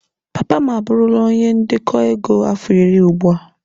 Papa m abụrụla onye ndekọ ego afọ iri ugbu a.